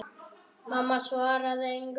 Mamma svaraði engu.